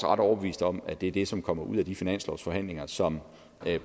ret overbevist om at det er det som kommer ud af de finanslovsforhandlinger som